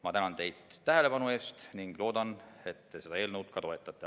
Ma tänan teid tähelepanu eest ning loodan, et te seda eelnõu ka toetate.